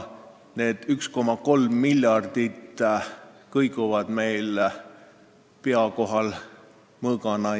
Need 1,3 miljardit kõiguvad meil pea kohal mõõgana.